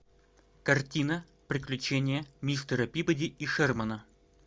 картина приключения мистера пибоди и шермана